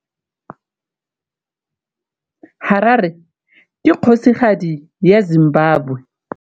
Harare ke kgosigadi ya Zimbabwe.